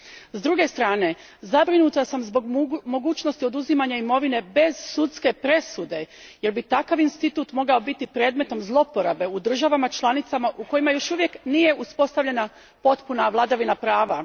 S druge strane, zabrinuta sam zbog mogućnosti oduzimanja imovine bez sudske presude, jer bi takav institut mogao biti predmet zloporabe u državama članicama u kojima još uvijek nije uspostavljena potpuna vladavina prava.